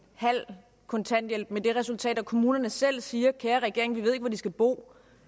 halv kontanthjælp med det resultat at kommunerne selv siger kære regering vi ved ikke hvor de skal bo